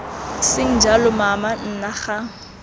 seng jalo mama nna ga